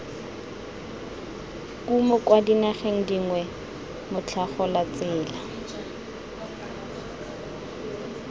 kumo kwa dinageng dingwe motlhagolatsela